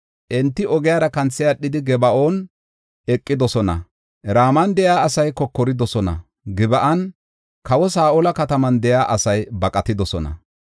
Enti ogiyara kanthi aadhidi, Geeban aqidosona. Raman de7iya asay kokoridosona; Gib7an, kawa Saa7ola kataman de7iya asay baqatidosona.